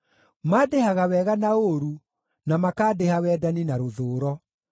Mandĩhaga wega na ũũru, na makandĩha wendani na rũthũũro.